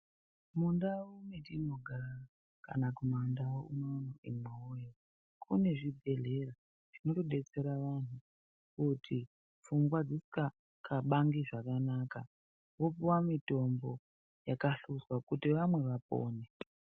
Mundau metinogara kana kumandau unono imwiwoye kune zvibhedhlera zvinotodetsera vanhu kuti pfungwa dzisinga klabangi zvakanaka vopuwa mitombo yakasvuzwa kuti vamwe vapone.